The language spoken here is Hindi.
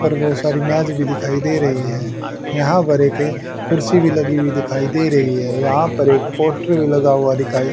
और बहुत सारी मैज भी दिखाई दे रही है यहां पर एक कुर्सी भी लगी हुई दिखाई दे रही है यहां पर एक पोस्टर भी लगा हुआ दिखाई--